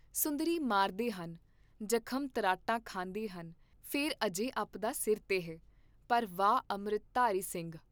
ਸੁੰਦਰੀ ਮਾਰਦੇ ਹਨ, ਜਖਮ ਤ੍ਰਾਟਾਂ ਖਾਂਦੇ ਹਨ, ਫੇਰ ਅਜੇ ਅਪਦਾ ਸਿਰ ਤੇ ਹੈ, ਪਰ ਵਾਹ ਅੰਮ੍ਰਿਤਧਾਰੀ ਸਿੰਘ।